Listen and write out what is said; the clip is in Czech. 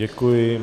Děkuji.